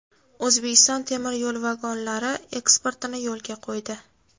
O‘zbekiston temir yo‘l vagonlari eksportini yo‘lga qo‘ydi.